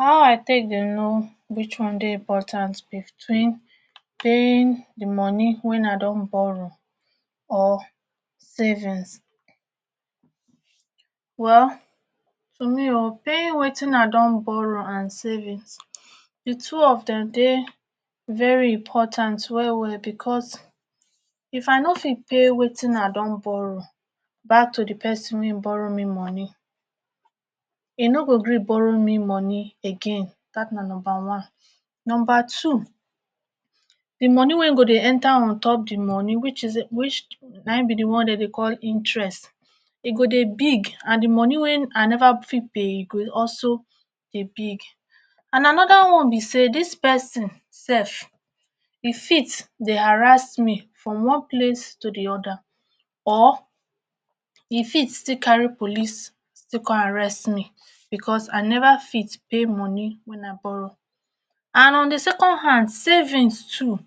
How i take dey know which one dey important between paying dey money when i don borrow or savings. Well for me oo paying wetin i don borrow and savings, dey two of dem dey very important well well because if i no fit pay wetin i don borrow back to dey person wey borrow me money e no go gree borrow me money again dat na number one. Number two, dey money wey go dey enter ontop dey money which is na im be dey wan dey dey call interest e go dey big and dey money wey i no fit pay go also dey big. And another one be sey dis pesin sef e fit dey harass me from one place to dey other or e fit still carry police still come arrest me because i never fit pay money when i borrow. And on dey second hands, savings too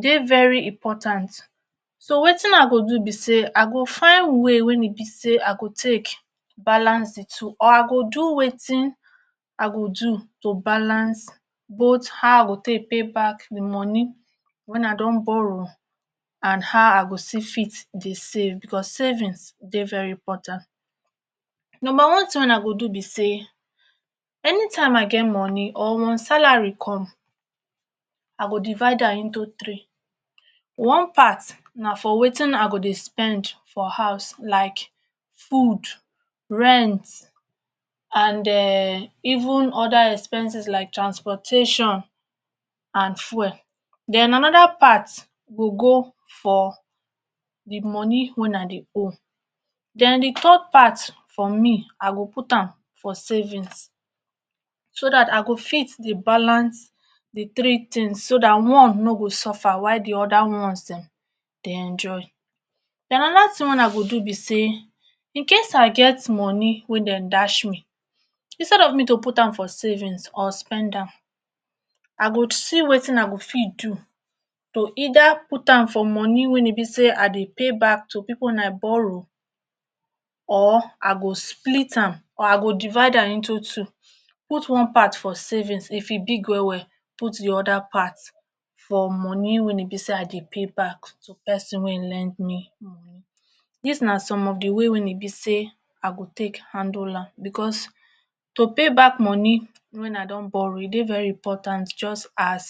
dey very important so wetin i go do be sey i go find way wey e be sey i go take balance dey two or i go do wetin i go do to balance both how i go take pay back dey money when i don borrow and how i go still fit save because savings dey very important. Number one thing i go do be sey anytime i get money or when salary come i go divide am into three. One part na for wetin i go dey spend for house like food, rent and um even other expenses like transportation and fuel. Then another part go go for dey money when i dey owe. Then dey third part for me, i go put am for savings so dat i go fit dey balance dey three things so dat one no go suffer while dey other ones dem dey enjoy. Then another thing wey i go do be sey incase i get money wey dem dash me instead of me to put am for savings or spend am, i go see wetin i go fit do to either put for money when e be sey i dey pay back to people i borrow or i go split am or i go divide am into two; put one part for savings if e big well well, put dey other part for money when e be sey i dey pay back to pesin wey e lend me. Dis na some of dey way when e be sey i go take handle am because to pay back money when i don borrow e dey very important just as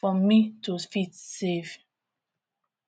for me to fit save.